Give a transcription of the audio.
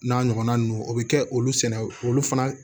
N'a ɲɔgɔnna ninnu o bɛ kɛ olu sɛnɛ olu fana